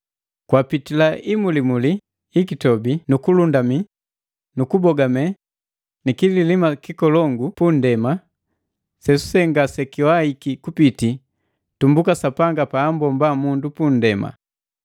Kwapitila imulimuli ikitobi nu kulundumi nu kubogame ni kililima kikolongu su nndema lelule ngaseliwaiki kupiti tumbuka Sapanga paambomba mundu pu ndema.